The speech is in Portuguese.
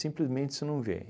você não vê.